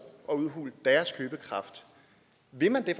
og udhule deres købekraft vil man det